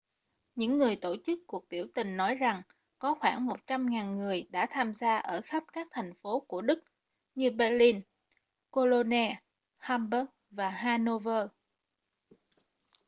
những người tổ chức cuộc biểu tình nói rằng có khoảng 100.000 người đã tham gia ở khắp các thành phố của đức như berlin cologne hamburg và hanover